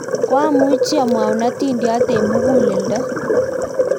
koamuchi amwou atindiot eng' muguleldo